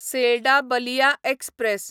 Selda Ballia express